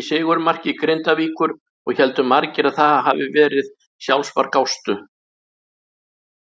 í sigurmarki Grindavíkur og héldu margir að það hafiði verið sjálfsmark Ástu.